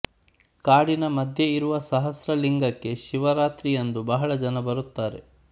ಕಾಡಿನ ಮಧ್ಯ ಇರುವ ಸಹಸ್ರಲಿಂಗಕ್ಕೆ ಶಿವರಾತ್ರಿಯಂದು ಬಹಳ ಜನ ಬರುತ್ತಾರೆ